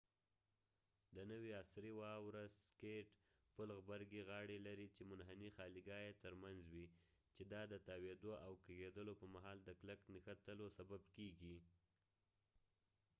د نوي عصری واوره سکېټ پل غبرګی غاړی لري چې منحنی خالیګاه یې تر منځ وي چې دا د تاويدو او کږیدلو په مهال د کلک نښتلو سبب کېږی